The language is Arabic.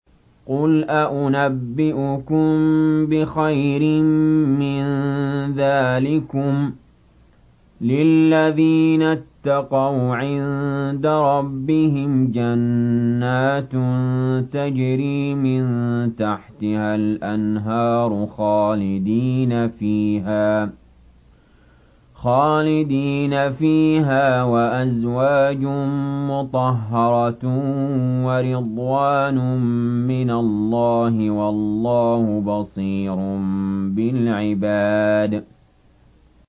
۞ قُلْ أَؤُنَبِّئُكُم بِخَيْرٍ مِّن ذَٰلِكُمْ ۚ لِلَّذِينَ اتَّقَوْا عِندَ رَبِّهِمْ جَنَّاتٌ تَجْرِي مِن تَحْتِهَا الْأَنْهَارُ خَالِدِينَ فِيهَا وَأَزْوَاجٌ مُّطَهَّرَةٌ وَرِضْوَانٌ مِّنَ اللَّهِ ۗ وَاللَّهُ بَصِيرٌ بِالْعِبَادِ